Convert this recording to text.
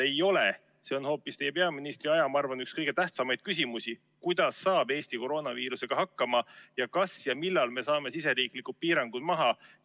See on minu arvates teie peaministriaja üks kõige tähtsamaid küsimusi, kuidas saab Eesti koroonaviirusega hakkama ning millal me saame riigisisesed piirangud maha võtta.